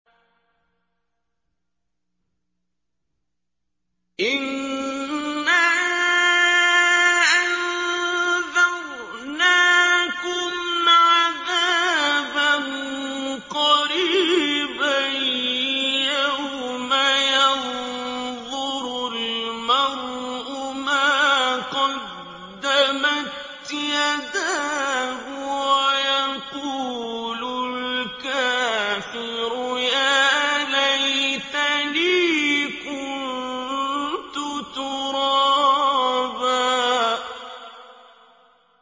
إِنَّا أَنذَرْنَاكُمْ عَذَابًا قَرِيبًا يَوْمَ يَنظُرُ الْمَرْءُ مَا قَدَّمَتْ يَدَاهُ وَيَقُولُ الْكَافِرُ يَا لَيْتَنِي كُنتُ تُرَابًا